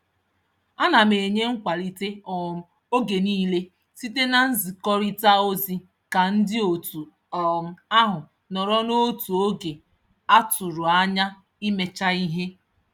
Ana m enye nkwalite um oge niile site na nzikọrịta ozi ka ndị otu um ahụ nọrọ n'otu oge a tụrụ anya imecha ihe.